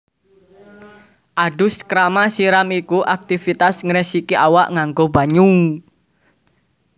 Adus krama siram iku aktivitas ngresiki awak nganggo banyu